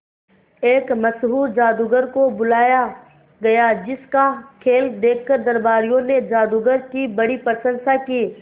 एक मशहूर जादूगर को बुलाया गया जिस का खेल देखकर दरबारियों ने जादूगर की बड़ी प्रशंसा की